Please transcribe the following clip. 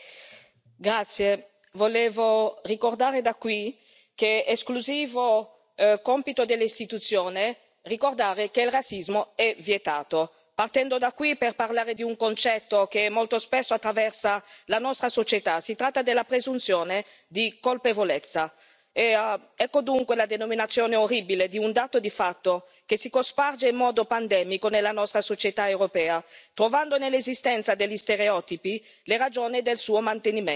Signor Presidente, onorevoli colleghi, volevo ricordare da qui che è esclusivo compito dell'Istituzione ricordare che il razzismo è vietato. Parto da qui per parlare di un concetto che molto spesso attraversa la nostra società. Si tratta della presunzione di colpevolezza, ecco dunque la denominazione orribile di un dato di fatto che si sparge in modo pandemico nella nostra società europea, trovando nell'esistenza degli stereotipi le ragioni del suo mantenimento.